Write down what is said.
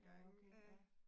Ja okay ja